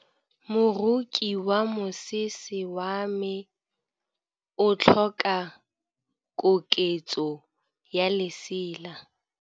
Moroki wa mosese wa me o tlhoka koketsô ya lesela.